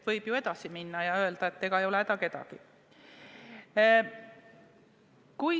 Võib ju edasi minna ja öelda, et ei ole häda midagi.